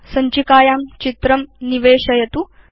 सञ्चिकायां चित्रं निवेशयतु